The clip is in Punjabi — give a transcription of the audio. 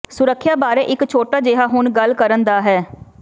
ਸੁਰੱਖਿਆ ਬਾਰੇ ਇੱਕ ਛੋਟਾ ਜਿਹਾ ਹੁਣ ਗੱਲ ਕਰਨ ਦਾ ਹੈ